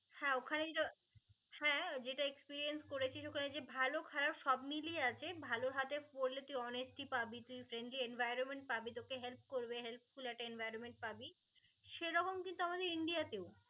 হ্যা ওখানেই তো হ্যা যেটা experience করেছিস ওখানে যে ভাল খারাপ সব মিলিয়ে আছে ভাল হাতে পড়লে তুই অনেককে পাবি তুই friendly environment পাবি তোকে help করবে helpful environment পাবি সেরকম কিন্তু আমাদের ইন্ডিয়া তে ও